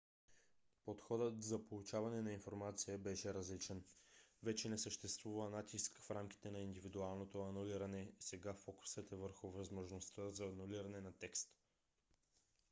подходът за получаване на информация беше различен. вече не съществува натиск в рамките на индивидуалното анулиране сега фокусът е върху възможността за анулиране на текст